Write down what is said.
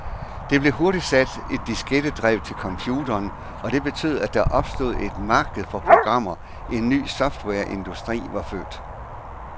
Der blev hurtigt sat et diskettedrev til computeren, og det betød, at der opstod et marked for programmer, en ny softwareindustri var født.